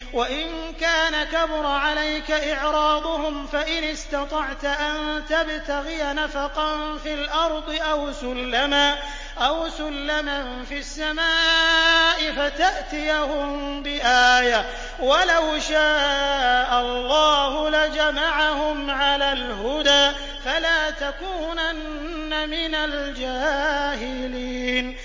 وَإِن كَانَ كَبُرَ عَلَيْكَ إِعْرَاضُهُمْ فَإِنِ اسْتَطَعْتَ أَن تَبْتَغِيَ نَفَقًا فِي الْأَرْضِ أَوْ سُلَّمًا فِي السَّمَاءِ فَتَأْتِيَهُم بِآيَةٍ ۚ وَلَوْ شَاءَ اللَّهُ لَجَمَعَهُمْ عَلَى الْهُدَىٰ ۚ فَلَا تَكُونَنَّ مِنَ الْجَاهِلِينَ